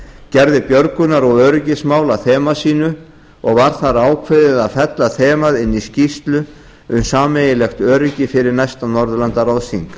gerði björgunar og öryggismál að þema sínu og var þar ákveðið var að fella þemað inn í skýrslu um samfélagslegt öryggi fyrir næsta norðurlandaráðsþing